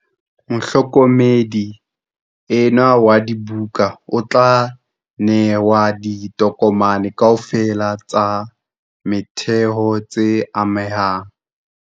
Mohlokomedi enwa wa dibuka o tla nehwa ditokomane kaofela tsa motheho tse amehang.